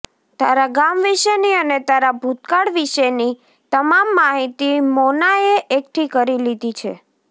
તારા ગામ વિષેની અને તારા ભૂતકાળ વિશેની તમામ માહિતી મોનાએ એકઠી કરી લીધી છે